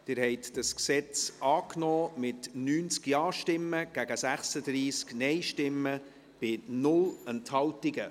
Sie haben dieses Gesetz angenommen, mit 90 Ja- gegen 36 Nein-Stimmen bei 0 Enthaltungen.